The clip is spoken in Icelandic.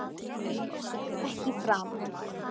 Syndga ekki framar.